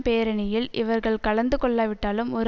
பேரணியில் இவர்கள் கலந்து கொள்ளாவிட்டாலும் ஒரு